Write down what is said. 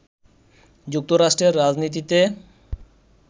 যুক্তরাষ্ট্রের রাজনীতিতে